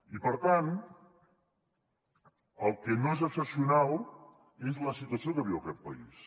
i per tant el que no és excepcional és la situació que viu aquest país